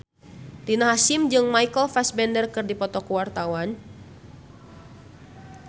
Rina Hasyim jeung Michael Fassbender keur dipoto ku wartawan